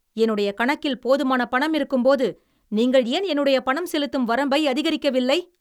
என்னுடைய கணக்கில் போதுமான பணம் இருக்கும்போது நீங்கள் ஏன் என்னுடைய பணம் செலுததும் வரம்பை அதிகரிக்கவில்லை?